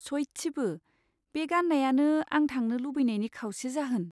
सयथिबो, बे गान्नायानो आं थांनो लुबैनायनि खावसे जाहोन।